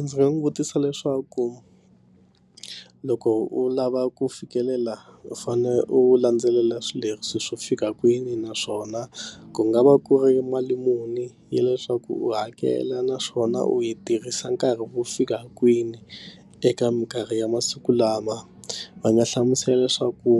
Ndzi nga n'wi vutisa leswaku loko u lava ku fikelela u fane u landzelela swileriso swo fika kwini naswona ku nga va ku ri mali muni ya leswaku u hakela naswona u yi tirhisa nkarhi wo fika kwini eka minkarhi ya masiku lama va nga hlamusela leswaku